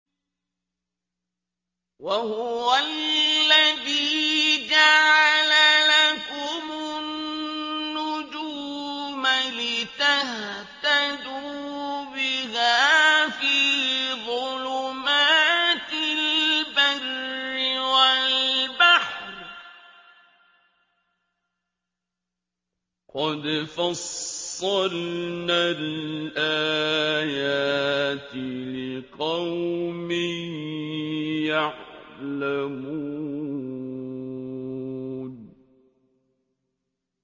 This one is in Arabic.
وَهُوَ الَّذِي جَعَلَ لَكُمُ النُّجُومَ لِتَهْتَدُوا بِهَا فِي ظُلُمَاتِ الْبَرِّ وَالْبَحْرِ ۗ قَدْ فَصَّلْنَا الْآيَاتِ لِقَوْمٍ يَعْلَمُونَ